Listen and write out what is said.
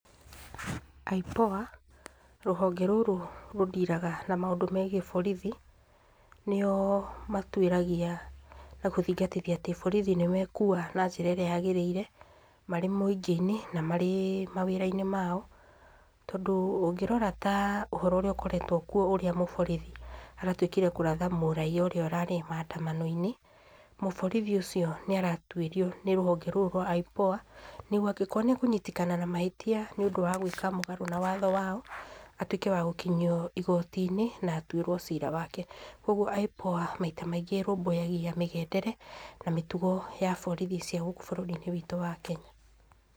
IPOA, rũhonge rũrũ rũ deal aga na maũndũ megiĩ borithi, nĩo matuĩragia na gũthingatithia atĩ borithi nĩmekua na njĩra ĩrĩa yagĩrĩire marĩ mũingĩ-inĩ na marĩ mawĩra-inĩ mao, tondũ ũngĩrora ta ũhoro ũrĩa ũkoretwo kwo ũrĩa mũborithi aratuĩkire kũratha mũraiya ũrĩa ũrarĩ maandamano-inĩ, mũborithi ũcio nĩaratuĩrio nĩ rũhonge rũrũ rwa IPOA nĩgwo angĩkorwo nĩ ekunyitĩkana na mahĩtia nĩũndũ wa gwĩka mũgarũ na watho wao, atuĩke wa gũkinyio igoti-inĩ na atuĩrwo ciira wake. Kwogwo IPOA maita maingĩ ĩrũmbũyagia mĩgendere na mĩtugo ya borithi cia gũkũ bũrũri-inĩ wĩtũ wa Kenya.